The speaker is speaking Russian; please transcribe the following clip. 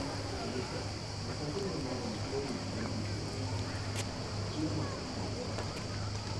алиса закажи мне на дом соус барбекю фирмы кухмастер